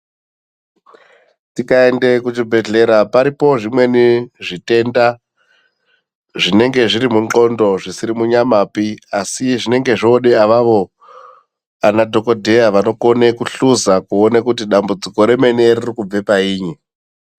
Tikaende kuchibhedhlera paripo zvimweni zvitenda zvinenge zviri mundxondo zvisiri panyamapi asi zvinenge zvoode avavo anadhogodheya vanokone kuhluza kuone kuti dambudziko remene ririkubve painyi.